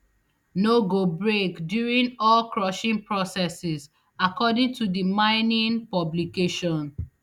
no go break during orecrushing processes according to to di miningmx publication